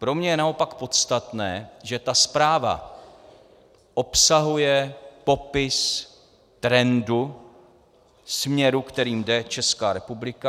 Pro mě je naopak podstatné, že ta zpráva obsahuje popis trendu, směru, kterým jde Česká republika.